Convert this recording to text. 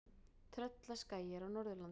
Tröllaskagi er á Norðurlandi.